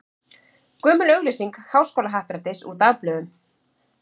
Gömul auglýsing Háskólahappdrættis úr dagblöðum.